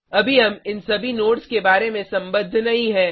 अभी हम इन सभी नोड्स के बारे में संबद्ध नहीं हैं